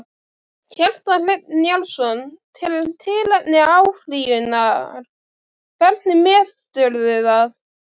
Kjartan Hreinn Njálsson: Tilefni til áfrýjunar, hvernig meturðu það?